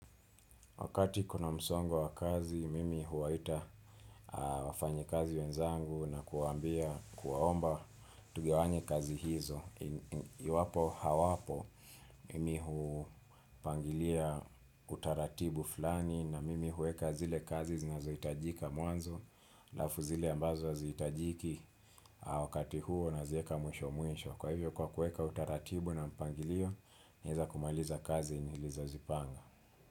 Wakati kuna msongo wa kazi, mimi huwaita wafanyikazi wenzangu na kuwaambia, kuwaomba tugawanye kazi hizo. Iwapo hawapo, mimi hupangilia utaratibu fulani na mimi huweka zile kazi zinazohitajika mwanzo halafu zile ambazo hazihitajiki wakati huo nazieka mwisho mwisho. Kwa hivyo kwa kueka utaratibu na mpangilio, naeza kumaliza kazi nilizozipanga.